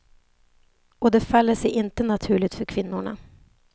Och det faller sig inte naturligt för kvinnorna.